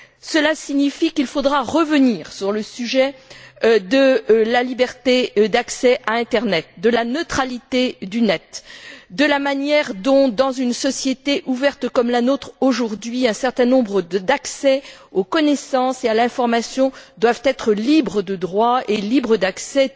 Cela signifie qu'il faudra revenir sur le sujet de la liberté d'accès à l'internet, de la neutralité du Net, de la manière dont, dans une société ouverte comme la nôtre l'est aujourd'hui, un certain nombre d'accès aux connaissances et à l'information doivent être libres de droits et libres d'accès.